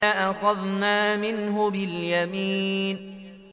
لَأَخَذْنَا مِنْهُ بِالْيَمِينِ